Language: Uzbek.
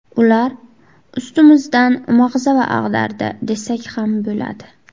Ular ustimizdan mag‘zava ag‘dardi desak ham bo‘ladi.